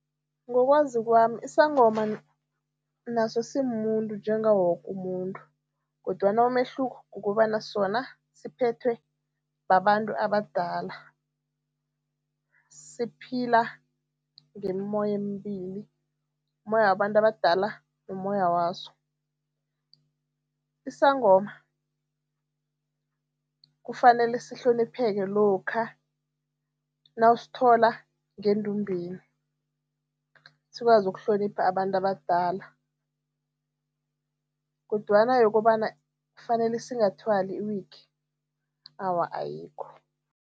Ngokwazi kwami, isangoma naso simumuntu njengawo woke umuntu kodwana umehluko kukobana sona siphethwe babantu abadala, siphila ngemimmoya emibili, ummoya wabantu abadala nommoya waso. Isangoma kufanele sihlonipheke lokha nawusithola ngendumbeni, sikwazi ukuhlonipha abantu abadala kodwana yokobana kufanele singathwali i-wig, awa, ayikho.